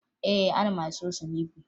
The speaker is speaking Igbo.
Ee, ana m asụ ose n'ikwe